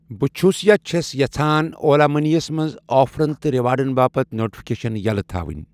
بہٕ چھَُس یا چھَس یژھان اولا مٔنی یس منٛز آفرن تہٕ ریوارڑن باپتھ نوٹفکیشن یَلہٕ تھاوٕنۍ